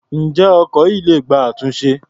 Ǹjẹ́ ọkọ̀ yìí le gba àtúnṣe?